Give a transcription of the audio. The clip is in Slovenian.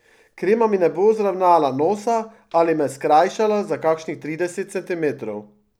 Krema mi ne bo zravnala nosa ali me skrajšala za kakšnih trideset centimetrov.